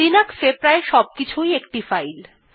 Linux এ প্রায় সবকিছুই একটি ফাইল